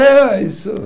Ah, isso!